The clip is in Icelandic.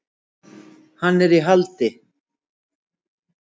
Hann er í haldi.